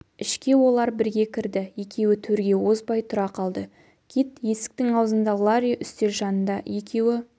ішке олар бірге кірді екеуі төрге озбай тұра қалды кит есіктің аузында ларри үстел жанында екеуі